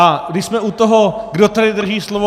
A když jsme u toho, kdo tady drží slovo.